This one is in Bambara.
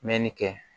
Mɛnni kɛ